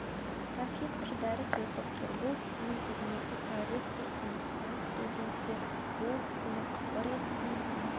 профессор дәріс оқып тұр бұл кісінің қызметі проректор сондықтан студенттер ол кісіні қыбыр етпей